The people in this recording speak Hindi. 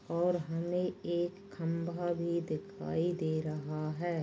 और हमे एक खंभा भी दिखाई दे रहा हे।